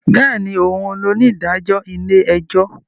Bẹẹni, òún ní onídàájọ ilé-ẹjọ